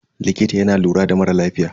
Likita yana lura da mara lafiya.